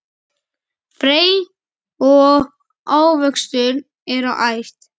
Fræ og ávöxtur eru æt.